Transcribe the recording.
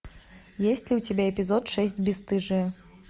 есть ли у тебя эпизод шесть бесстыжие